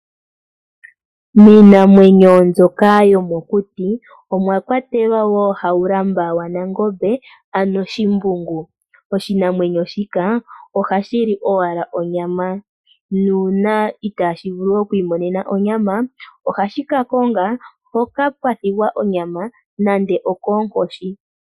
Miinamwenyo mbyoka yomokuti omwakwatekwa wo Haulamba waNangombe ano Shimbungu .Oshinamwenyo shika ohashi li ashike onyama nuuna itashi vulu okwimonena onyama ohashi ka konga mpoka pwathigwa onyama nande okonkoshi.